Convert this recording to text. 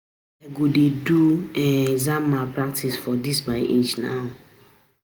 How I go dey do um exam malpractice for dis my age um